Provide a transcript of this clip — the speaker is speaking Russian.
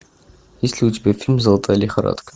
есть ли у тебя фильм золотая лихорадка